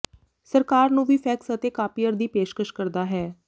ਸਰਕਾਰ ਨੂੰ ਵੀ ਫੈਕਸ ਅਤੇ ਕਾਪਿਅਰ ਦੀ ਪੇਸ਼ਕਸ਼ ਕਰਦਾ ਹੈ